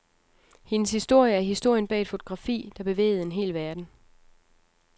Hendes historie er historien bag et fotografi, der bevægede en hel verden.